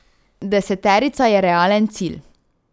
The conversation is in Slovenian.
Deseterica je realen cilj.